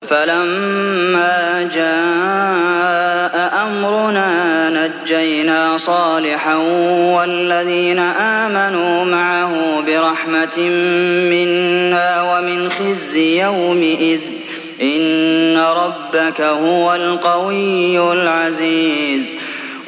فَلَمَّا جَاءَ أَمْرُنَا نَجَّيْنَا صَالِحًا وَالَّذِينَ آمَنُوا مَعَهُ بِرَحْمَةٍ مِّنَّا وَمِنْ خِزْيِ يَوْمِئِذٍ ۗ إِنَّ رَبَّكَ هُوَ الْقَوِيُّ الْعَزِيزُ